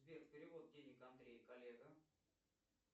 сбер перевод денег андрей коллега